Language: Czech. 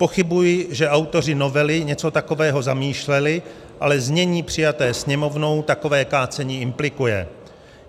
Pochybuji, že autoři novely něco takového zamýšleli, ale znění přijaté Sněmovnou takové kácení implikuje.